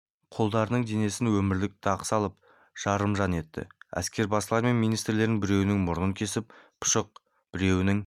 құлдарының денесіне өмірлік дақ салып жарымжан етті әскербасылары мен министрлерінің біреуінің мұрнын кесіп пұшық біреуінің